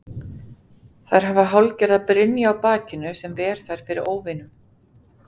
Þær hafa hálfgerða brynju á bakinu sem ver þær fyrir óvinum.